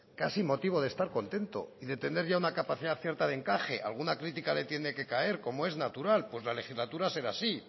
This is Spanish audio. casi motivo de estar contento y de tener ya una capacidad cierta de encaje alguna crítica le tiene que caer como es natural pues la legislatura será así y